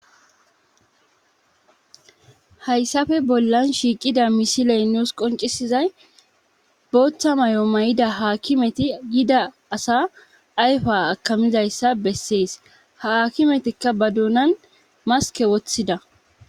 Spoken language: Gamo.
hayssafe bollan shiiqida misiley nuus qoncisizay booththa may7o may7ida haakimeti g Yida asa ayfa akamidayssa bessees ha akimetikka ba duunan maske woththida